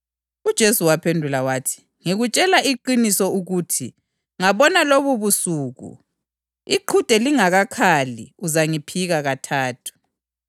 UPhethro waphendula wathi, “Loba bonke bangaze benyele ngenxa yakho, mina kimi ngezake kwenzeke.”